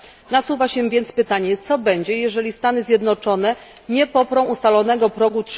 Nasuwa się więc pytanie, co będzie, jeżeli Stany Zjednoczone nie poprą ustalonego progu